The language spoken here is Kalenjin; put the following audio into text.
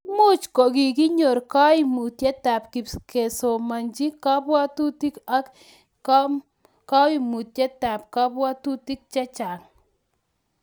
Imuch kogikonyor koimutietab kesomonchi kobwotutik ak koumutitab kobwotutik chechang